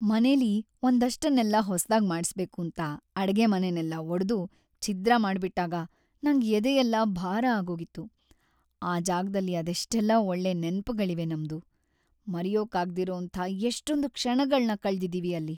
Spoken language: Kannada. ಮನೆಲಿ ಒಂದಷ್ಟನ್ನೆಲ್ಲ ಹೊಸ್ದಾಗ್‌ ಮಾಡಿಸ್ಬೇಕೂಂತ ಅಡ್ಗೆಮನೆನೆಲ್ಲ ಒಡ್ದು ಛಿದ್ರ ಮಾಡ್ಬಿಟ್ಟಾಗ‌ ನಂಗ್ ಎದೆಯೆಲ್ಲ ಭಾರ ಆಗೋಗಿತ್ತು. ಆ ಜಾಗ್ದಲ್ಲಿ ಅದೆಷ್ಟೆಲ್ಲ ಒಳ್ಳೆ ನೆನ್ಪ್‌ಗಳಿವೆ ನಮ್ದು, ಮರೆಯೋಕಾಗ್ದಿರೋಂಥ ಎಷ್ಟೊಂದ್‌ ಕ್ಷಣಗಳ್ನ ಕಳ್ದಿದೀವಿ ಅಲ್ಲಿ.